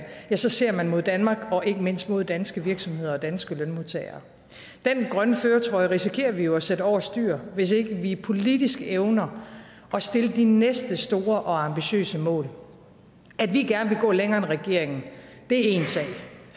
så ser man mod danmark og ikke mindst mod danske virksomheder og danske lønmodtagere den grønne førertrøje risikerer vi jo at sætte over styr hvis ikke vi politisk evner at sætte de næste store og ambitiøse mål at vi gerne vil gå længere end regeringen er én sag